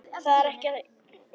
Þetta er ekki í lagi!